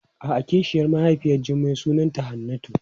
A'a kishiyar mahaifiyar Jummai sunanta Hannatu.